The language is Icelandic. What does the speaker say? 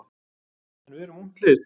En við erum ungt lið.